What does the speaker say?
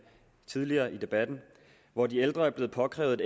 tidligere i debatten hvor de ældre er blevet opkrævet et